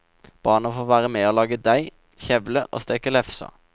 Barna får være med å lage deig, kjevle og steke lefser.